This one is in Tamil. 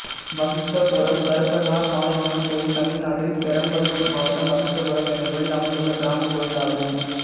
வசிட்டபுரம் கருப்பனார் மாரியம்மன் கோயில் தமிழ்நாட்டில் பெரம்பலூர் மாவட்டம் வசிட்டபுரம் என்னும் ஊரில் அமைந்துள்ள கிராமக் கோயிலாகும்